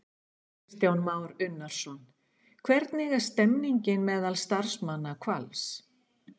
Kristján Már Unnarsson: Hvernig er stemningin meðal starfsmanna Hvals?